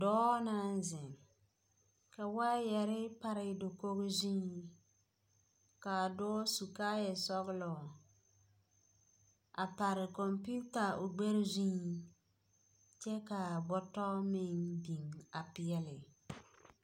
pɔge naŋ zeŋ ka waayɛre pare dakogo zuŋ . ka a dɔɔ su kaaya zɔgelɔ. a pare kompeeta o gbɛɛ zuŋ, kyɛ ka bɔtɔ meŋ biŋ.